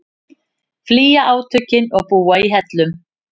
Flýja átökin og búa í hellum